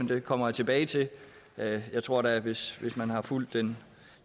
det kommer jeg tilbage til jeg tror da at hvis man har fulgt den